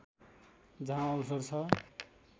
जहाँ अवसर छ